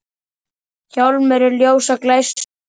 Hjálmur ljósa glæstur er.